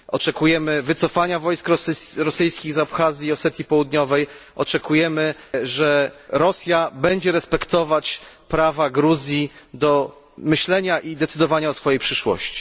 Oczekujemy wycofania wojsk rosyjskich z Abchazji i Osetii Południowej, oczekujemy, że Rosja będzie respektować prawa Gruzji do myślenia i decydowania o swojej przyszłości.